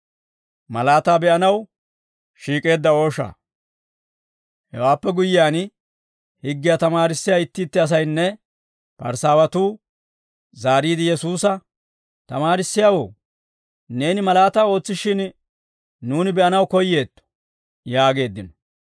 Hewaappe guyyiyaan, higgiyaa tamaarissiyaa itti itti asaynne Parisaawatuu zaariide Yesuusa, «Tamaarissiyaawoo, neeni malaataa ootsishshin, nuuni be'anaw koyyeetto» yaageeddino.